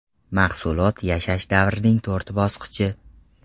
Mahsulot yashash davrining to‘rt bosqichi.